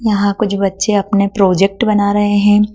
यहां कुछ बच्चे अपने प्रोजेक्ट बना रहे है।